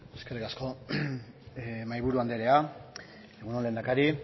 eskerrik asko mahaiburu andrea egun on lehendakari